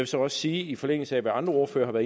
så også sige i forlængelse af hvad andre ordførere